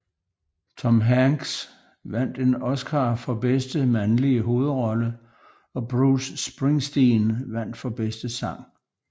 Tom Hanks vandt en Oscar for bedste mandlige hovedrolle og Bruce Springsteen vandt for bedste sang